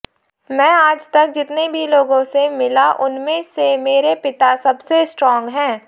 मैं आज तक जितने भी लोगों से मिला उनमें से मेरे पिता सबसे स्ट्रांग हैं